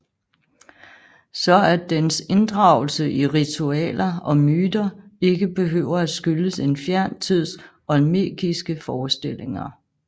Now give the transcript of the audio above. Så at dens inddragelse i ritualer og myter ikke behøver at skyldes en fjern tids olmekiske forestillinger